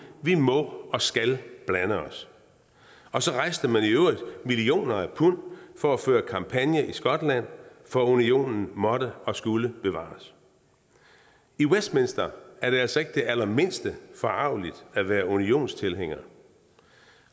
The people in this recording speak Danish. vi må og skal blande os og så rejste man i øvrigt millioner af pund for at føre kampagne i skotland for unionen måtte og skulle bevares i westminster er det altså ikke det allermindste forargeligt at være unionstilhænger